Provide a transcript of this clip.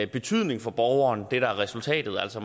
betydning for borgeren hvad er resultatet altså